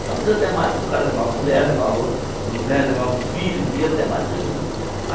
Às vezes até mais, porque o cara levava mulher, levava o né levava os filhos, ia até mais pessoas.